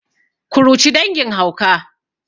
kuruci dangin hauka